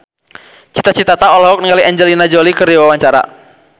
Cita Citata olohok ningali Angelina Jolie keur diwawancara